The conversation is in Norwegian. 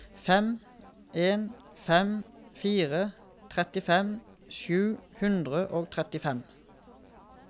fem en fem fire trettifem sju hundre og trettifem